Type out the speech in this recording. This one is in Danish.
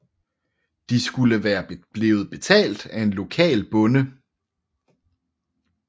De skulle være blevet betalt af en lokal bonde